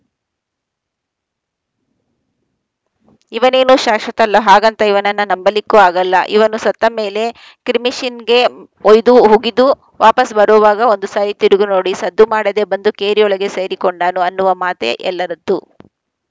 ಇವನೇನೂ ಶಾಶ್ವತ ಅಲ್ಲಹಾಗಂತ ಇವನನ್ನ ನಂಬಲಿಕ್ಕೂ ಆಗಲ್ಲಇವನು ಸತ್ತಮೇಲೆ ಕ್ರಿಮಿಶಿನ್ಗೆ ಒಯ್ದು ಹುಗಿದು ವಾಪಸ್‌ ಬರೋವಾಗ ಒಂದು ಸಾರಿ ತಿರುಗಿ ನೋಡಿಸದ್ದು ಮಾಡದೆ ಬಂದು ಕೇರಿಯೊಳಗೆ ಸೇರಿ ಕೊಂಡಾನು ಅನ್ನುವ ಮಾತೇ ಎಲ್ಲರದ್ದು